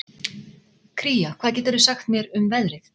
Kría, hvað geturðu sagt mér um veðrið?